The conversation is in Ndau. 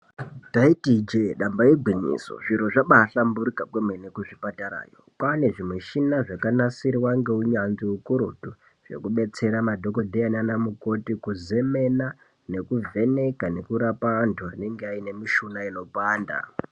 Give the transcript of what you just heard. Taiti ijee damba igwinyiso, zviro zvabaahlamburuka kwemene kuzvipatarayo. Kwaane zvimuchina zvakanasirwa ngeunyanzvi hukurutu, zvekubetsera madhogodheya naana mukoti kuzemena nekuvheneka nekurapa antu anenge aine mishuna inopanda.